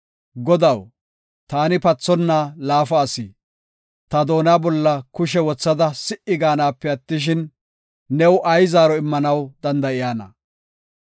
“Godaw, taani pathonna laafa asi; ta doona bolla kushe wothada si77i gaanape attishin, new ay zaaro immanaw danda7iyana?